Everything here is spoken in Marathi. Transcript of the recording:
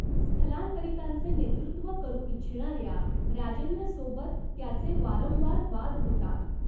स्थलांतरितांचे नेतृत्व करू इच्छिणाऱ्या राजेंद्रसोबत त्याचे वारंवार वाद होतात.